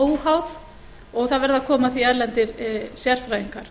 óháð og það verði að koma að því erlendir sérfræðingar